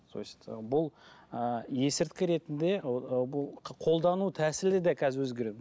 то есть бұл ы есірткі ретінде ыыы бұл қолдану тәсілі де қазір өзгереді